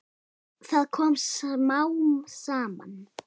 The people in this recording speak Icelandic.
Það kom smám saman.